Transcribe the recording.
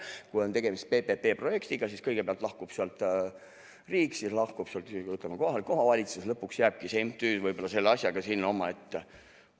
Kui on tegemist PPP-projektiga, siis kõigepealt lahkub sealt riik ja siis lahkub sealt kohalik omavalitsus, nii et lõpuks võib-olla jääbki see MTÜ selle asjaga sinna omaette.